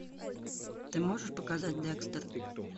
ты можешь показать декстер